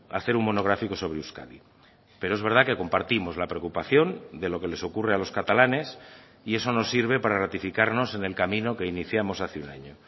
hacer un monográfico sobre euskadi pero es verdad que compartimos la preocupación de lo que les ocurre a los catalanes y eso nos sirve para ratificarnos en el camino que iniciamos hace un año